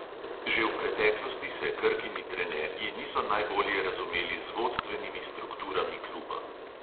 Že v preteklosti se krkini trenerji niso najbolje razumeli z vodstvenimi strukturami kluba.